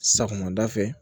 Sagonada fɛ